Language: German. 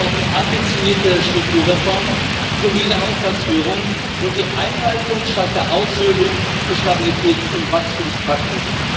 Wir brauchen ambitionierte Strukturreformen, solide Haushaltsführung und die Einhaltung statt der Aushöhlung des Stabilitäts und Wachstumspakts.